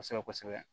Kosɛbɛ kosɛbɛ